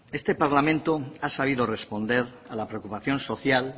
este parlamento ha sabido responder a la preocupación social